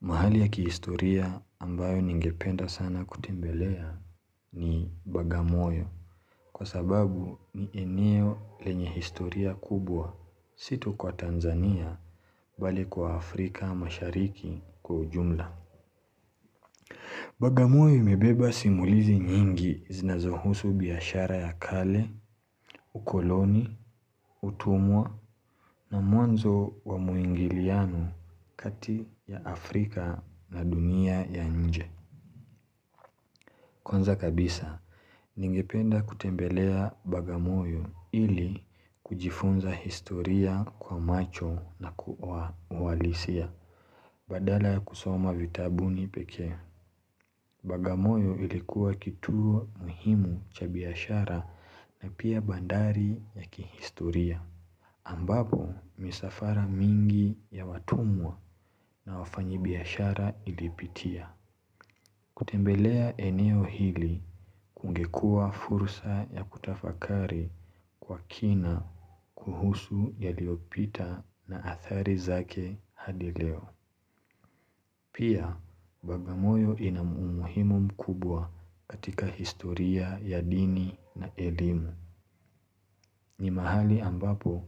Mahali ya kihistoria ambayo ningependa sana kutembelea. Ni Bagamoyo.Kwa sababu ni eneo lenye historia kubwa. Si tu kwa Tanzania, mbali kwa Afrika mashariki kwa ujumla. Bagamoyo imebeba simulizi nyingi, zinazohusu biashara ya kale, ukoloni, utumwa na mwanzo wa muingiliano kati ya Afrika na dunia ya inje. Kwanza kabisa, ningependa kutembelea bagamoyo ili kujifunza historia kwa macho na kuwalisia, badala ya kusoma vitabuni pekee. Bagamoyo ilikuwa kituo muhimu cha biashara na pia bandari ya kihistoria. Ambapo misafara mingi ya watumwa na wafanyi biashara ilipitia. Kutembelea eneo hili. Kungekuwa fursa ya kutafakari kwa kina, kuhusu yaliyopita na athari zake hadi leo. Pia, Bagamoyo ina humuhimu mkubwa katika historia ya dini na elimu. Ni mahali ambapo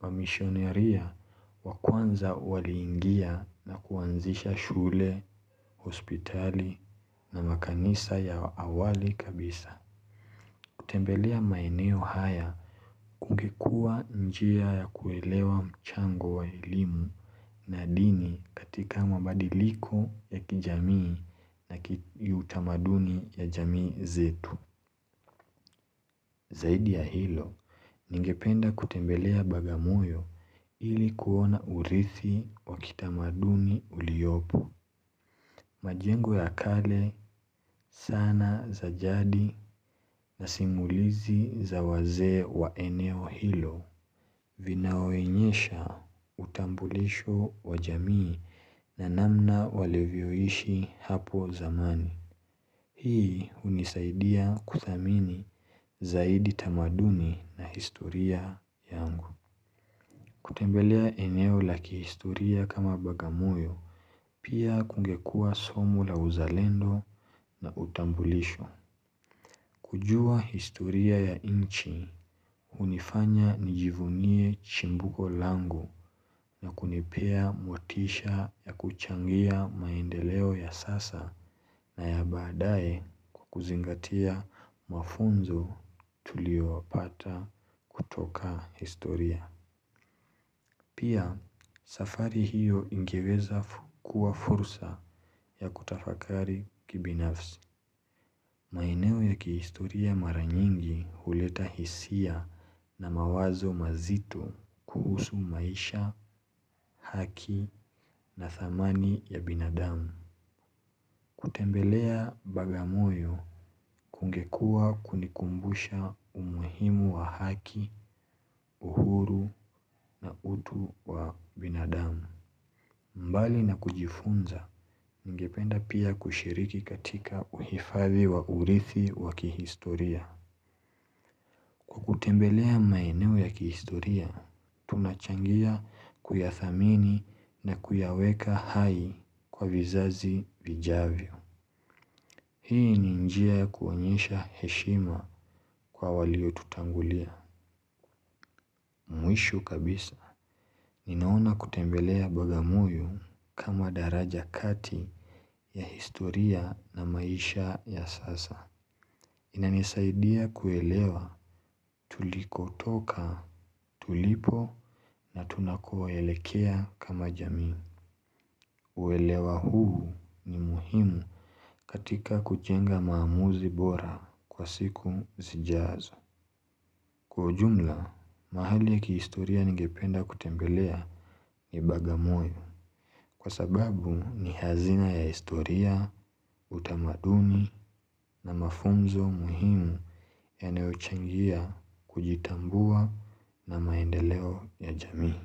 wamishonaria wa kwanza waliingia na kuanzisha shule, hospitali na makanisa ya awali kabisa. Kutembelea maeneo haya, kungekuwa njia ya kuelewa mchango wa elimu na dini, katika mabadiliko ya kijamii na utamaduni ya jamii zetu. Zaidi ya hilo, ningependa kutembelea Bagamoyo, ilikuona urithi wa kitamaduni uliopo. Majengo ya kale sana zajadi na simulizi za wazee wa eneo hilo. Vinaonyesha utambulisho wajamii na namna walivyoishi hapo zamani. Hii unisaidia kudhamini zaidi tamaduni na historia yangu. Kutembelea eneo la kihistoria kama Bagamoyo. Pia kungekuwa somo la uzalendo na utambulisho. Kujua historia ya inchi Uniifanya nijivunie chimbuko langu na kunipea motisha ya kuchangia maendeleo ya sasa na ya baadaye, kwa kuzingatia mafunzo tuliyoyapata kutoka historia. Pia safari hiyo ingeweza kuwa fursa ya kutafakari kibinafsi. Maeneo ya kihistoria mara nyingi. Huleta hisia na mawazo mazito kuhusu maisha, haki na dhamani ya binadamu. Kutembelea Bagamoyo, kungekuwa kunikumbusha umuhimu wa haki, uhuru na utu wa binadamu. Mbali na kujifunza, ningependa pia kushiriki katika uhifadhi wa urithi wa kihistoria. Kwa kutembelea maeneo ya kihistoria, tunachangia kuyathamini na kuyaweka hai kwa vizazi vijavyo. Hii ni njia ya kuonyesha heshima kwa walio tutangulia. Mwisho kabisa. Ninaona kutembelea Bagamoyo, kama daraja kati ya historia na maisha ya sasa. Inanisaidia kuelewa tulikotoka, tulipo na tunakoelekea kama jamii. Uelewa huu ni muhimu, katika kujenga maamuzi bora kwa siku zijazo. Kwa ujumla, mahali ya kihistoria ningependa kutembelea ni Bagamoyo. Kwa sababu ni hazina ya historia, utamadumi na mafunzo muhimu yanayochangia, kujitambua na maendeleo ya jamii.